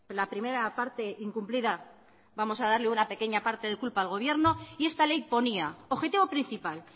la primera parte incumplida vamos a darle una pequeña parta de culpa al gobierno y esta ley ponía objetivo principal